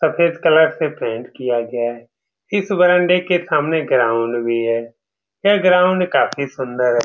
सफ़ेद कलर से पेंट किया गया है इस बरामदे के सामने ग्राउंड भी है यह ग्राउंड काफी सुन्दर है।